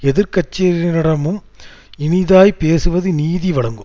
எதிர் கட்சியினரிடமும் இனிதாய்ப்பேசுவது நீதி விளங்கும்